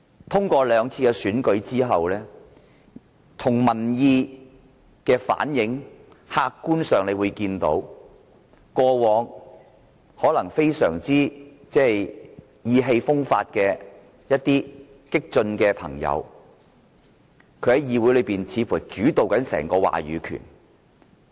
通過今年兩次選舉及民意的反映，客觀上可看到過往一些非常意氣風發的激進朋友，似乎主導了議會整個話語權。